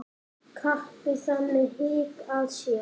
Kappi þaðan hygg að sé.